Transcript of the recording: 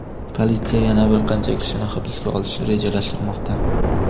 Politsiya yana bir qancha kishini hibsga olishni rejalashtirmoqda.